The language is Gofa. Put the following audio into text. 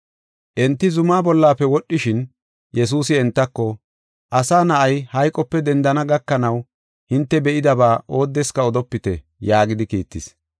Enti zumaa bollafe wodhishin, Yesuusi entako, “Asa Na7ay, hayqope dendana gakanaw, hinte be7idaba oodeska odopite” yaagidi kiittis.